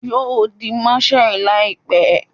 Yo di marshal laipe